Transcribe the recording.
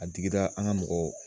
A digira an ka mɔgɔw